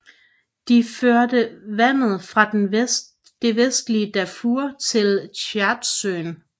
De fører vandet fra det vestlige Darfur til Tchadsøen